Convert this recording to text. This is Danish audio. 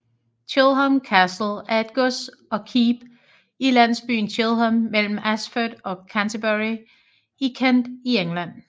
Chilham Castle er et gods og keep i landsbyen Chilham mellem Ashford og Canterbury i Kent i England